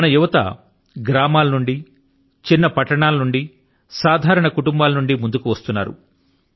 మన యువత గ్రామాల నుండి చిన్న పట్టణాల నుండి సాధారణ కుటుంబాల నుండి ముందుకు వస్తున్నారు